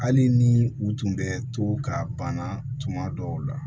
Hali ni u tun bɛ to ka banna tuma dɔw la